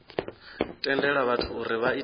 tendela vhathu uri vha ite